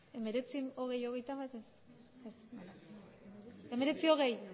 hemeretzi hogei hogeita bat ez bale hemeretzi hogei